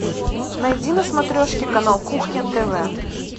найди на смотрешке канал кухня тв